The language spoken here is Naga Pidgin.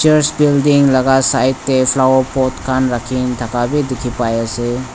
church building laka side tae flower pot khan rakhinthaka bi dikhipaiase.